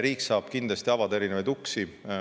Riik saab kindlasti avada erinevaid uksi.